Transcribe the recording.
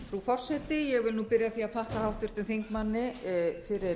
vil byrja á því að þakka háttvirtum þingmanni fyrir